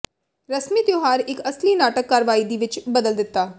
ਰਸਮੀ ਤਿਉਹਾਰ ਇੱਕ ਅਸਲੀ ਨਾਟਕ ਕਾਰਵਾਈ ਦੀ ਵਿੱਚ ਬਦਲ ਦਿੱਤਾ